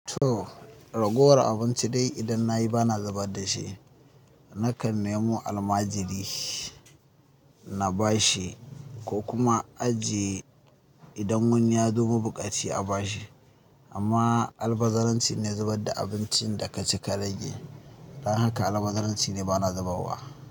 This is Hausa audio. To ragowar abinci dai idan nayi bana zubar dashi. Nakan nemo almajiri na bashi ko kuma in ajiye idan wani yazo mabuƙaci a bashi. Amma albazaranci ne zubar da abincin da ka ci ka rage. Don haka albazaranci ne bana zubawa.